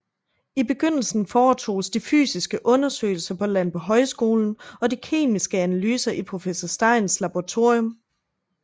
I begyndelsen foretoges de fysiske undersøgelser på Landbohøjskolen og de kemiske analyser i professor Steins Laboratorium